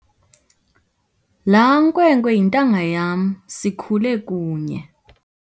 Laa nkwenkwe yintanga yam sikhule kunye.